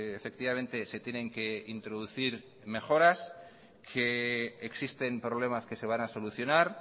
efectivamente se tienen que introducir mejoras que existen problemas que se van a solucionar